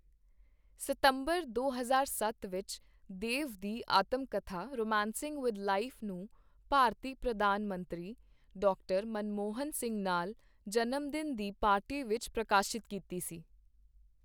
ਸਤੰਬਰ ਦੋ ਹਜ਼ਾਰ ਸੱਤ ਵਿੱਚ, ਦੇਵ ਦੀ ਆਤਮਕਥਾ 'ਰੋਮਾਂਸਿੰਗ ਵਿਦ ਲਾਈਫ' ਨੂੰ ਭਾਰਤੀ ਪ੍ਰਧਾਨ ਮੰਤਰੀ ਡਾ. ਮਨਮੋਹਨ ਸਿੰਘ ਨਾਲ ਜਨਮ ਦਿਨ ਦੀ ਪਾਰਟੀ ਵਿਚ ਪ੍ਰਕਾਸ਼ਿਤ ਕੀਤੀ ਸੀ।